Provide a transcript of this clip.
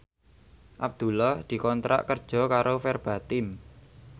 Abdullah dikontrak kerja karo Verbatim